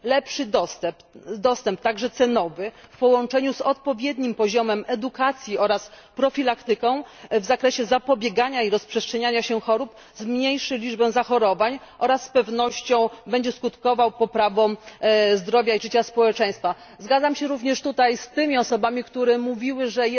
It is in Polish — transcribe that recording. Lepszy dostęp, także cenowy, w połączeniu z odpowiednim poziomem edukacji oraz profilaktyką w zakresie zapobiegania i rozprzestrzeniania się chorób zmniejszy liczbę zachorowań oraz z pewnością będzie skutkował poprawą zdrowia i życia społeczeństwa. Zgadzam się również tutaj z tymi osobami, które mówiły, że